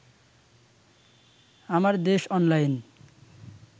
আমার দেশ অনলাইন